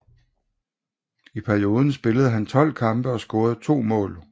I perioden spillede han 12 kampe og scorede 2 mål